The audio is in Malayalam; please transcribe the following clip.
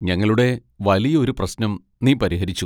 ഞങ്ങളുടെ വലിയ ഒരു പ്രശ്നം നീ പരിഹരിച്ചു.